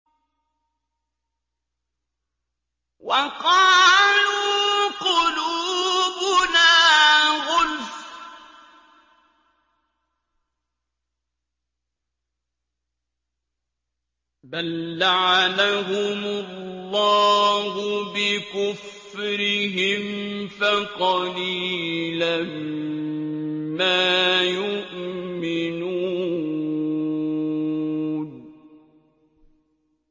وَقَالُوا قُلُوبُنَا غُلْفٌ ۚ بَل لَّعَنَهُمُ اللَّهُ بِكُفْرِهِمْ فَقَلِيلًا مَّا يُؤْمِنُونَ